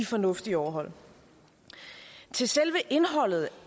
fornuftige at overholde til selve indholdet